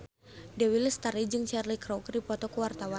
Dewi Lestari jeung Cheryl Crow keur dipoto ku wartawan